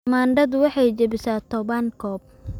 Tamaandhadu waxay jabisay toban koob